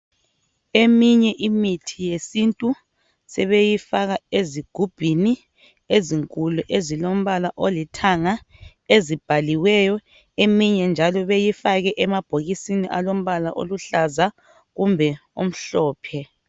Eminye imithi yesintu sebeyifaka ezigubhini ezinkulu ezilombala olithanga ezibhaliweyo eminye njalo beyifake emabhokisini alombala oluhlaza kumbe omhlophe.